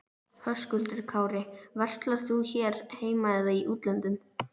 Höskuldur Kári: Verslar þú hér heima eða í útlöndum?